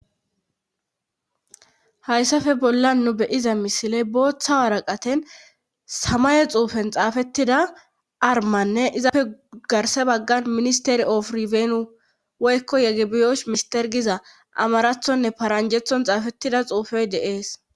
hayssafe bolla nu beyiza misile booththa waraqaten samaye xuufen xaafettida armanne izaafe garse baggan ministeri ofuri feenu woykko yegebiyosh mister giza amarathonne paranjethon xaafettida xuufey deees